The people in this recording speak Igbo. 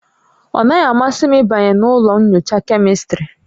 Ọ naghị-amasị m ịbanye na ụlọ nyocha Kemịstrị